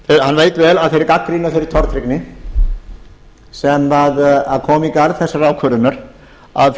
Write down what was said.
hann veit vel af þeirri gagnrýni og þeirri tortryggni sem kom í garð þessarar ákvörðunar að